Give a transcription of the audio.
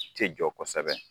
Tɛ jɔ kosɛbɛ